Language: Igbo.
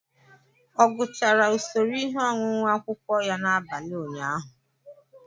Ọ gụchara usoro ihe ọṅụṅụ akwukwo ya n'abalị ụnyaahụ?